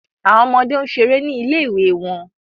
Awọn ọmọde n ṣere ni ile-iwe wọn